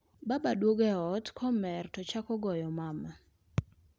Baba duogo e ot komer to chako goyo mama